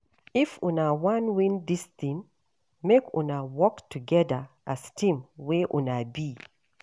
If una wan win dis tin, make una work togeda as team wey una be.